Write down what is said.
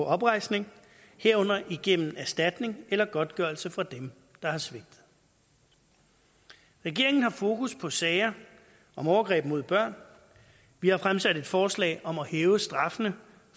oprejsning herunder igennem erstatning eller godtgørelse fra dem der har svigtet regeringen har fokus på sager om overgreb mod børn vi har fremsat et forslag om at hæve straffene